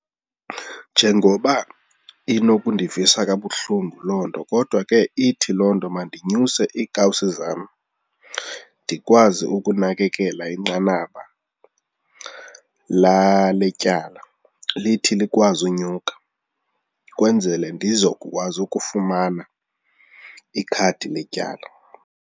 Njengoba inokundivisa kabuhlungu loo nto kodwa ke ithi loo nto mandinyuse iikawusi zam, ndikwazi ukunakekela inqanaba lale tyala lithi likwazi unyuka ukwenzele ndizokwazi ukufumana ikhadi letyala.